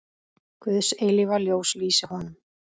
Guðs eilífa ljós lýsi honum.